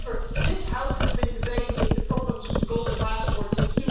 However, this House has been debating the problems with golden passport since